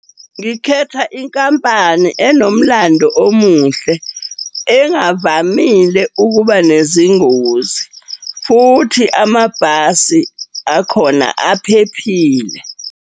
Ngikhetha inkampani enomlando omuhle, engavamile ukuba nezingozi, futhi amabhasi akhona aphephile.